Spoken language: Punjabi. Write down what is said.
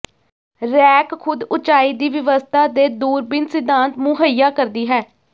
ਰੈਕ ਖੁਦ ਉਚਾਈ ਦੀ ਵਿਵਸਥਾ ਦੇ ਦੂਰਬੀਨ ਸਿਧਾਂਤ ਮੁਹੱਈਆ ਕਰਦੀ ਹੈ